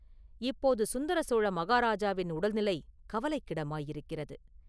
இப்போது சுந்தர சோழ மகாராஜாவின் உடல்நிலை கவலைக்கிடமாயிருக்கிறது.